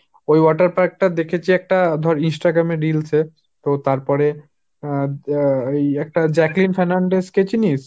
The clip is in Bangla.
ওই water park টা দেখেছি একটা ধর Instagram এ reels এ, তো তারপরে আহ ওই একটা Jacqueline Fernandez কে চিনিস?